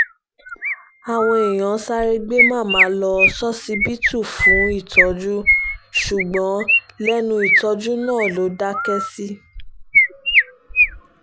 àwọn èèyàn sáré gbé màmá lọ ṣọsibítù fún ìtọ́jú ṣùgbọ́n lẹ́nu ìtọ́jú náà ló dákẹ́ sí